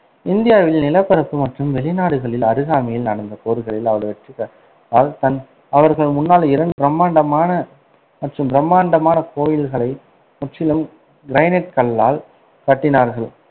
இந்தியாவில் நிலப்பரப்பு மற்றும் வெளிநாடுகளில் அருகாமையில் நடந்த போர்களில் அவர் வெற்றி பெற்றால் தான், அவர்கள் முன்னாள் இரண்டு பிரமாண்டமான மற்றும் பிரமாண்டமான கோயில்களை முற்றிலும் கிரானைட் கல்லால் கட்டினார்கள்,